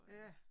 Ja